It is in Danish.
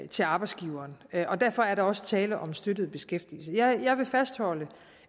til arbejdsgiveren og derfor er der også tale om støttet beskæftigelse jeg vil fastholde